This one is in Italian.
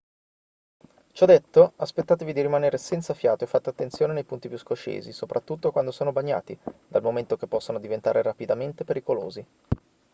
ciò detto aspettatevi di rimanere senza fiato e fate attenzione nei punti più scoscesi soprattutto quando sono bagnati dal momento che possono diventare rapidamente pericolosi